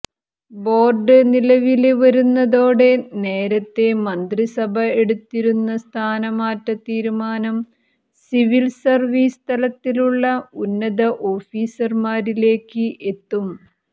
board നിലവില് വരുന്നതോടെ നേരത്തെ മന്ത്രിസഭ എടുത്തിരുന്ന സ്ഥാനമാറ്റ തീരുമാനം സിവില് സര്വീസ് തലത്തിലുള്ള ഉന്നത ഓഫീസര്മാരിലേക്ക് എത്തും